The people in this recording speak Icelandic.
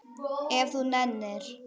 Ef þú nennir.